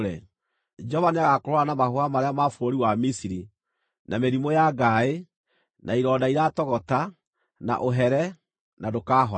Jehova nĩagakũhũũra na mahũha marĩa ma bũrũri wa Misiri, na mĩrimũ ya ngaaĩ, na ironda iratogota, na ũhere, na ndũkahona.